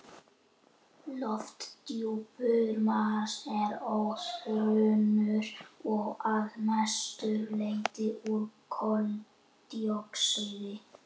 Lofthjúpur Mars er örþunnur og að mestu leyti úr koldíoxíði.